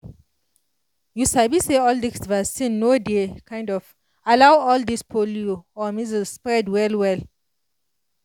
you sabi say all dis vaccine no dey um allow all dis polio or measles spread well well